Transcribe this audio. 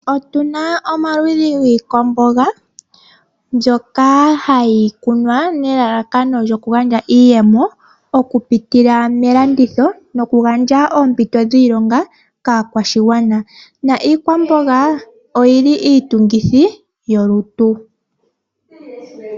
Otuna omaludhi giikwamboga mbyoka hayi kunwa nelalakano lyoku gandja iiyemo. Oku pitila melanditho. Noku gandja oompito dhiilonga kaakwashigwana . Na iikwamboga oyili iitungithi yolutu.